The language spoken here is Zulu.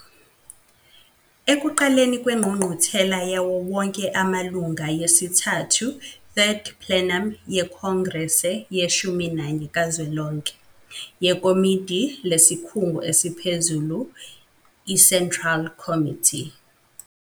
Ekuqaleni kweNgqungquthela yawo wonke amalunga yesithathu, Third Plenum, yeKhongrese yeshumi nanye kazwelonke, yeKomidi lesikhungu esiphezulu i-Central Committee